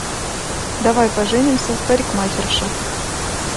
давай поженимся парикмахерша